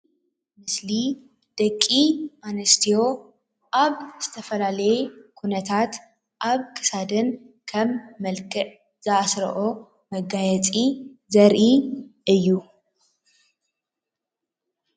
ምስሊ ደቂ ኣንስትዮ ኣብ ዝተፈላለየ ኩነታት ኣብ ክሳደን ከም መልክዕ ዝኣስርኦ መጋየፂ ዘርኢ እዩ።